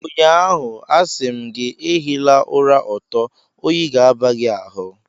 Ụnyaahụ, a sị m gị, ehila ụra ọtọ, oyi ga-aba gị ahụ